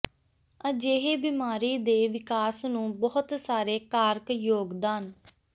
ਅਜਿਹੇ ਬਿਮਾਰੀ ਦੇ ਵਿਕਾਸ ਨੂੰ ਬਹੁਤ ਸਾਰੇ ਕਾਰਕ ਯੋਗਦਾਨ